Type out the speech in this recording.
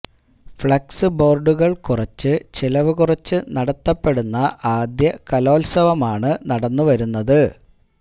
flex ബോർഡുകൾ കുറച്ച് ചെലവ് കുറച്ച് നടത്തപ്പെടുന്ന ആദ്യ കലോൽസവമാണ് നടന്നുവരുന്നത്